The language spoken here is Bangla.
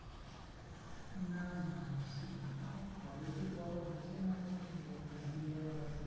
না না এখন college এর পড়া হচ্ছে না আমি